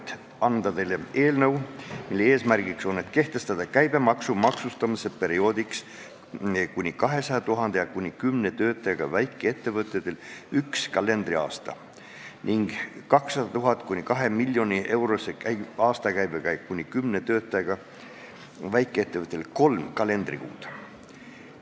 Mul on au anda teile üle eelnõu, mille eesmärk on kehtestada käibemaksu maksustamisperioodiks kuni 200 000-eurose aastakäibega ja kuni kümne töötajaga väikeettevõtjatele üks kalendriaasta ning 200 000 – 2 000 000-eurose aastakäibega ja kuni kümne töötajaga väikeettevõtjatele kolm kalendrikuud.